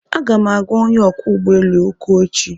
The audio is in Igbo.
Aga m agwa onye ọkwọ ụgbọ elu okwu echi